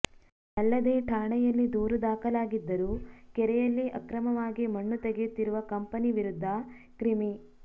ಅಲ್ಲದೆ ಠಾಣೆಯಲ್ಲಿ ದೂರು ದಾಖಲಾ ಗಿದ್ದರೂ ಕೆರೆಯಲ್ಲಿ ಅಕ್ರಮವಾಗಿ ಮಣ್ಣು ತೆಗೆಯುತ್ತಿರುವ ಕಂಪೆನಿ ವಿರುದ್ಧ ಕ್ರಿಮಿ